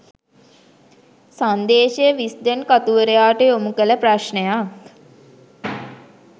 සංදේශය Wisden කතුවරයාට යොමු කළ ප්‍රශ්නයක්